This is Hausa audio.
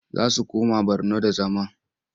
Za su koma Borno da zama.